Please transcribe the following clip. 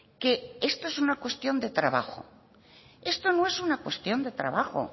que esto es una cuestión de trabajo esto no es una cuestión de trabajo